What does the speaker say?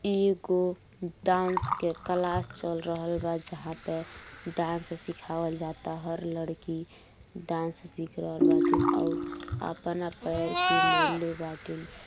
एगो डांस के क्लास चल रहल बा। जहां पे डांस सिखवाल जाता। हर लड़की डांस सीख रहल बाटे और अपना पैर के मोरले बाटीन।